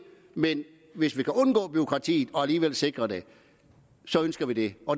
men hvis vi kan undgå bureaukratiet og alligevel sikre det ønsker vi det